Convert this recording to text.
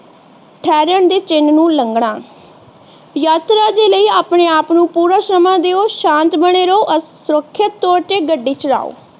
ਠੇਰਾਨ ਦੇ ਚਿਹਨ ਨੂੰ ਲੰਘਣਾ ਯਾਤਰਾ ਦੇ ਲਈ ਆਪਣੇ ਆਪ ਨੂੰ ਪੂਰਾ ਸਮਾਂ ਦਯੋ ਸ਼ਾਂਤ ਬਣੇ ਰਹੋ ਸੁਰੱਖਿਅਤ ਤੋਰ ਤੇ ਗੱਡੀ ਚਲਾਓ।